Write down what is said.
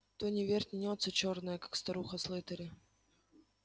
то не вернётся чёрная как старуха слэттери